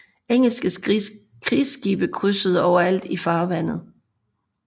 Engelske krigsskibe krydsede overalt i farvandet